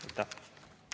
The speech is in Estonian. Aitäh!